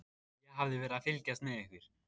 Ég hafði verið að fylgjast með ykkur.